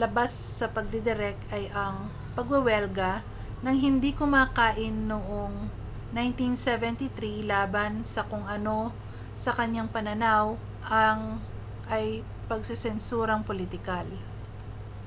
labas sa pagdidirek ay ang pagwewelga nang hindi kumakain noong 1973 laban sa kung ano sa kaniyang pananaw ay pagsesensurang pulitikal